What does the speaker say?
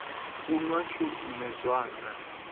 u nwa shu nṋe zwanga